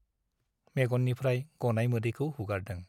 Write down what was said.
मेग'ननिफ्राइ गनाय मोदैखौ हुगारदों ।